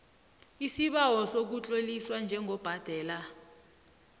isibawo sokutloliswa njengobhadela